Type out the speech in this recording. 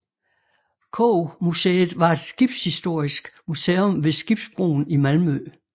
Koggmuseet var et skibshistorisk museum ved Skibsbroen i Malmø